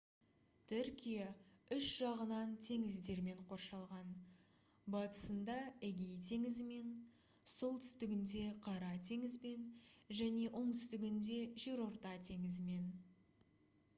түркия үш жағынан теңіздермен қоршалған батысында эгей теңізімен солтүстігінде қара теңізбен және оңтүстігінде жерорта теңізімен